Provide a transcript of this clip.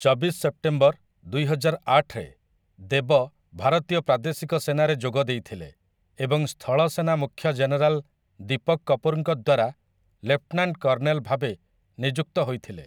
ଚବିଶ ସେପ୍ଟେମ୍ବର, ଦୁଇହଜାର ଆଠରେ ଦେବ ଭାରତୀୟ ପ୍ରାଦେଶିକ ସେନାରେ ଯୋଗ ଦେଇଥିଲେ ଏବଂ ସ୍ଥଳସେନା ମୁଖ୍ୟ ଜେନେରାଲ ଦୀପକ କପୁରଙ୍କ ଦ୍ୱାରା ଲେଫ୍ଟନାଣ୍ଟ କର୍ଣ୍ଣେଲ ଭାବେ ନିଯୁକ୍ତ ହୋଇଥିଲେ ।